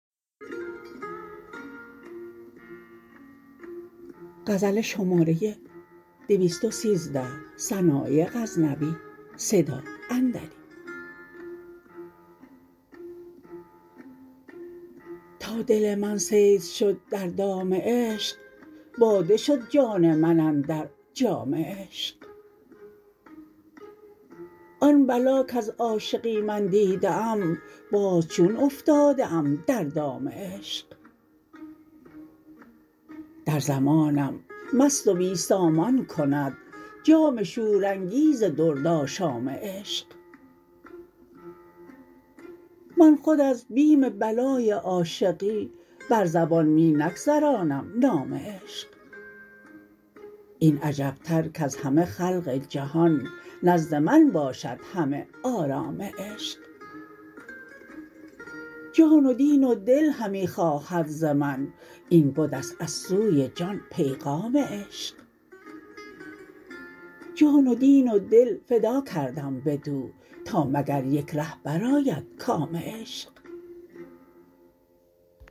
تا دل من صید شد در دام عشق باده شد جان من اندر جام عشق آن بلا کز عاشقی من دیده ام باز چون افتاده ام در دام عشق در زمانم مست و بی سامان کند جام شورانگیز درد آشام عشق من خود از بیم بلای عاشقی بر زبان می نگذرانم نام عشق این عجب تر کز همه خلق جهان نزد من باشد همه آرام عشق جان و دین و دل همی خواهد ز من این بدست از سوی جان پیغام عشق جان و دین و دل فدا کردم بدو تا مگر یک ره برآید کام عشق